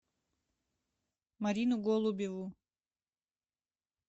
марину голубеву